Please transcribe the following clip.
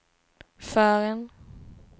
förrän